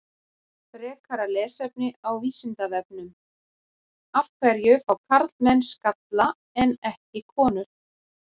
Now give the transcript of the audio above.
Frekara lesefni á Vísindavefnum: Af hverju fá karlmenn skalla en ekki konur?